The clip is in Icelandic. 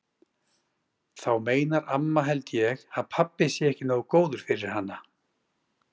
Þá meinar amma held ég að pabbi sé ekki nógu góður fyrir hana.